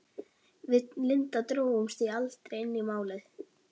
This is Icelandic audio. Við Linda drógumst því aldrei inn í Málið.